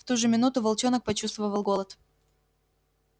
в ту же минуту волчонок почувствовал голод